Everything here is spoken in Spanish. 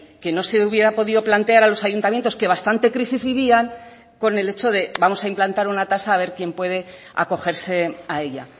que no se hubiera podido plantear a los ayuntamientos que bastante crisis vivían con el hecho de vamos a implantar una tasa a ver quién puede acogerse a ella